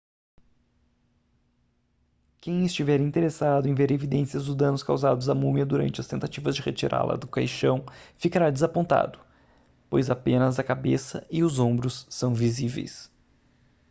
quem estiver interessado em ver evidências dos danos causados à múmia durante as tentativas de retirá-la do caixão ficará desapontado pois apenas a cabeça e os ombros são visíveis